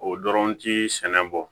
O dɔrɔn ti sɛnɛ bɔ